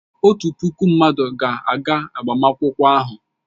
Otu puku mmadụ ga-aga agbamakwụkwọ ahụ.